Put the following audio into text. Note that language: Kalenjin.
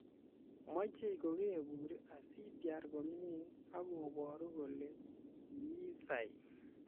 Machei kokebur asitiar komie akoboru kole kiisai.